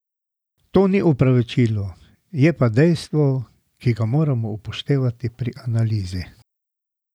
To ni opravičilo, je pa dejstvo, ki ga moramo upoštevati pri analizi.